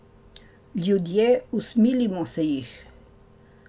Ljudje, usmilimo se jih.